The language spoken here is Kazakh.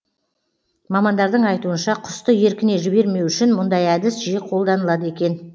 мамандардың айтуынша құсты еркіне жібермеу үшін мұндай әдіс жиі қолданылады екен